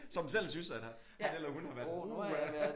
Som selv synes at han eller hun har været uha